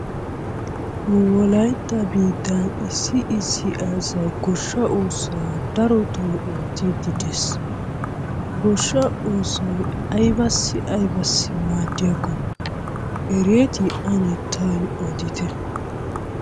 Nu wolaytta biittan issi issi asay goshsha oosuwa darotto oottide dees. Goshsha oosoy aybassi aybassi maadiyakko ereti? Ane tawu odite.